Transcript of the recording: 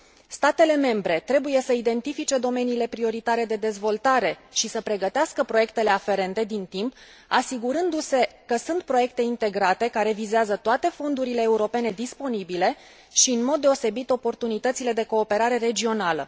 Statele membre trebuie să identifice domeniile prioritare de dezvoltare și să pregătească proiectele aferente din timp, asigurându se că sunt proiecte integrate, care vizează toate fondurile europene disponibile și, în mod deosebit, oportunitățile de cooperare regională.